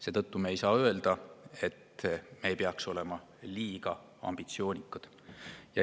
Seetõttu ei saa öelda, et me ei peaks olema liiga ambitsioonikad.